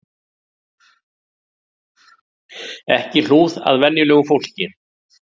Ekki hlúð að venjulegu fólki